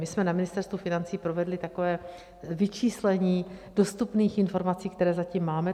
My jsme na Ministerstvu financí provedli takové vyčíslení dostupných informací, které zatím máme.